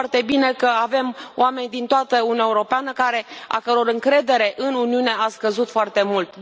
Știm foarte bine că avem oameni din toată Uniunea Europeană, a căror încredere în Uniune a scăzut foarte mult.